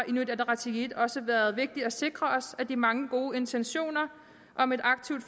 inuit ataqatigiit også været vigtigt at sikre os at de mange gode intentioner om et aktivt